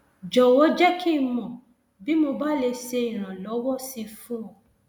jọwọ jẹ kí n mọ bí mo bá lè ṣe ìrànlọwọ sí i fún ọ